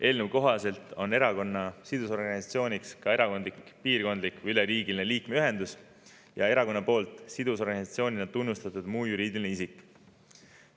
Eelnõu kohaselt on erakonna sidusorganisatsiooniks ka erakonna liikmete piirkondlik või üleriigiline ühendus ja erakonna poolt sidusorganisatsioonina tunnustatud muu juriidiline isik.